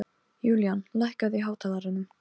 Þær skulu ekki slá hana út af laginu.